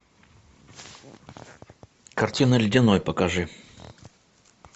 картина ледяной покажи